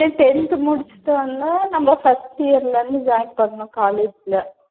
இதே tenth முடிச்சிட்டு வந்தா நம்ப first year ல இருந்து join பண்ணணும் college ல.